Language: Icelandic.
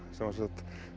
sem sagt